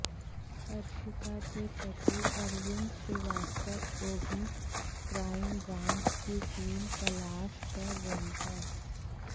हर्षिता के पति अरविंद श्रीवास्तव को भी क्राइम ब्रांच की टीम तलाश कर रही है